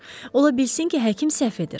Ola bilsin ki, həkim səhv edir.